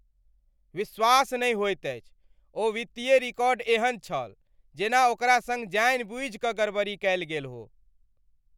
विश्वास नहि होइत अछि! ओ वित्तीय रिकॉर्ड एहन छल जेना ओकरा सङ्ग जानिबूझि कऽ गड़बड़ी कयल गेल हो!